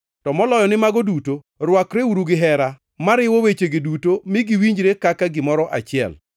To moloyo ni mago duto, rwakreuru gihera, mariwo wechegi duto mi giwinjre kaka gimoro achiel.